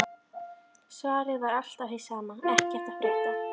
Svarið var alltaf hið sama: Ekkert að frétta